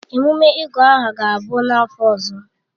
Ememe ịgụ aha ga-abụ n'afọ ọzọ.